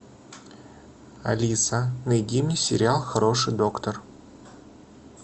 алиса найди мне сериал хороший доктор